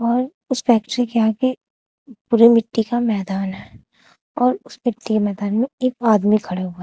और उस फैक्ट्री के आगे पूरे मिट्टी का मैदान है और उस मिट्टी मैदान में एक आदमी खड़ा हुआ--